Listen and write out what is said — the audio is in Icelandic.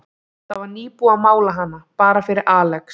Það var nýbúið að mála hana, bara fyrir Alex.